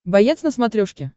боец на смотрешке